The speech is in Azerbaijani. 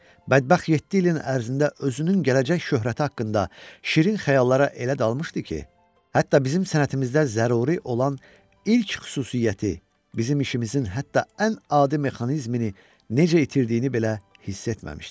Bədbəxt yeddi ilin ərzində özünün gələcək şöhrəti haqqında şirin xəyallara elə dalmışdı ki, hətta bizim sənətimizdə zəruri olan ilk xüsusiyyəti, bizim işimizin hətta ən adi mexanizmini necə itirdiyini belə hiss etməmişdi.